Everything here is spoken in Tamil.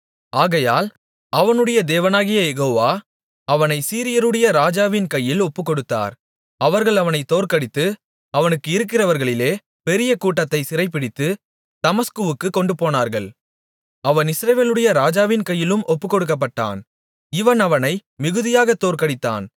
ஆகையால் அவனுடைய தேவனாகிய யெகோவா அவனைச் சீரியருடைய ராஜாவின் கையில் ஒப்புக்கொடுத்தார் அவர்கள் அவனைத் தோற்கடித்து அவனுக்கு இருக்கிறவர்களிலே பெரிய கூட்டத்தைச் சிறைபிடித்து தமஸ்குவுக்குக் கொண்டுபோனார்கள் அவன் இஸ்ரவேலுடைய ராஜாவின் கையிலும் ஒப்புக்கொடுக்கப்பட்டான் இவன் அவனை மிகுதியாக தோற்கடித்தான்